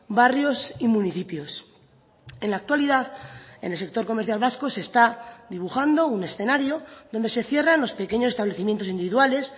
barrios y municipios en la actualidad en el sector comercial vasco se está dibujando un escenario donde se cierran los pequeños establecimientos individuales